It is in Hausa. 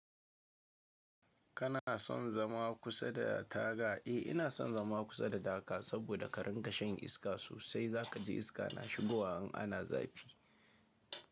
Kana son zama kusa da taga? Eh, ina son zama kusa da daka saboda ka rinƙa shan iska sosai. Za ka ji iska na shigowa in ana zafi.